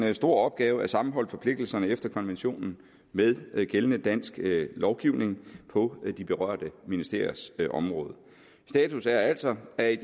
en stor opgave at sammenholde forpligtelserne efter konventionen med gældende dansk lovgivning på de berørte ministeriers område status er altså at